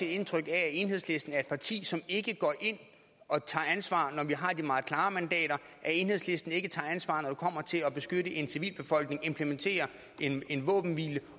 indtryk af at enhedslisten er et parti som ikke går ind og tager ansvar når vi har de meget klare mandater at enhedslisten ikke tager ansvar når det kommer til at beskytte en civilbefolkning implementere en våbenhvile